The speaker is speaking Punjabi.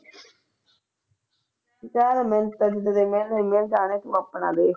ਚੱਲ ਤੂੰ ਆਪਣਾ ਦੇਖ